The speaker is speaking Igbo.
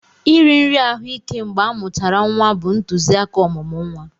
Iri nri ahụ ike mgbe amuchara nwa bụ ntụzịaka ọmụmụ nwa.